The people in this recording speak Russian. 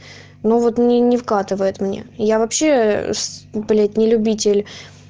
ну вот мне не вкатывает мне я вообщее блять не любитель